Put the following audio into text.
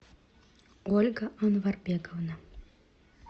ольга анварбековна